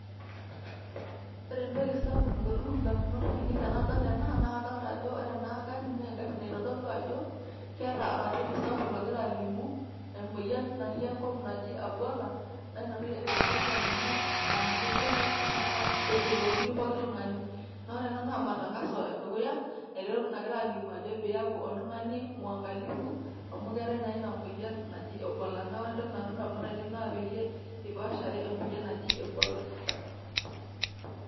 Ore entoki sapuk nalotu indamunot ainei tenadol ena, na kadolta ajo ore ena garri na egarri naitodolu ajo, keeta oratioti sapuk lagira alimu, emoyian natii enkop naji Ebola, na inatoki egira ena garri alimu, ah ninye duo nai ifaa peyiolouni pookin tung'ani. Na ore ena na matangazo edukuya, nagirai alimu ajo piyaku oltung'ani mwangalifu ,amu keetae na ina moyian naji Ebola. Na ore entoki nalotu indamunot ainei na peyie ipaashare emoyian naji Ebola.